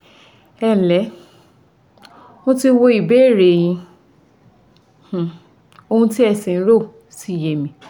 Ẹǹlẹ́, mo ti wo ìbéèrè e yín ohun tí ẹ̀ ń rò sì yé mi